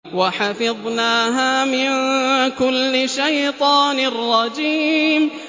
وَحَفِظْنَاهَا مِن كُلِّ شَيْطَانٍ رَّجِيمٍ